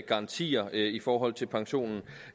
garantier i forhold til pensionen